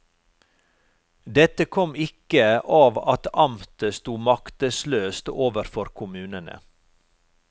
Dette kom ikke av at amtet stod maktesløst overfor kommunene.